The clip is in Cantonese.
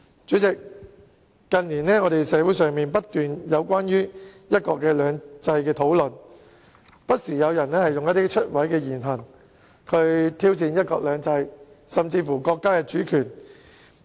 主席，社會上近年不斷出現關於"一國兩制"的討論，而且有人不時以出位的言行，挑戰"一國兩制"甚至是國家主權。